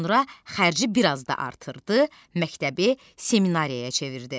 Sonra xərci biraz da artırdı, məktəbi seminariyaya çevirdi.